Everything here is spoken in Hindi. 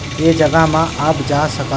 ये जगह में आप जा सकत --